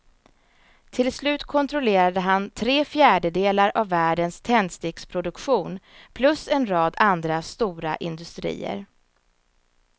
Till slut kontrollerade han tre fjärdedelar av världens tändsticksproduktion plus en rad andra stora industrier.